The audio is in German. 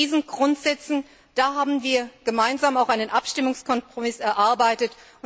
Unter diesen Grundsätzen haben wir gemeinsam einen Abstimmungskompromiss erarbeitet.